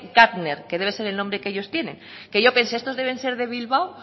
gafner que debe ser el nombre que ellos tienen que yo pensé estos deben ser de bilbao